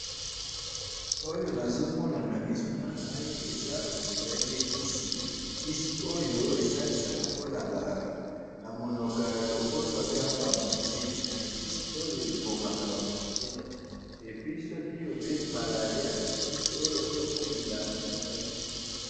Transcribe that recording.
oyo nazomona na misu nangai, eza lulenge kisi, kisi oyo esalisaka pe naba namonoko ya lopoto babengaka ba moustiques, kisi oyo ebomaka ba moustiques, et puis soki obebi malaria, kisi oyo pe okomela yango esalisaka